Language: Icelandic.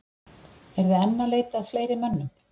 Eruð þið enn að leita að fleiri mönnum?